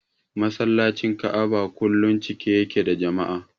Masallacin Ka'aba kullum cike yake da jama'a.